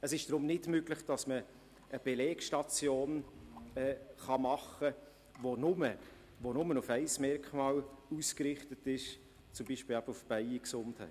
Deshalb ist es nicht möglich, eine Belegstation zu machen, die nur auf ein Merkmal ausgerichtet ist, beispielsweise auf die Bienengesundheit.